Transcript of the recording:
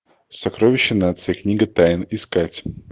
сокровище нации книга тайн искать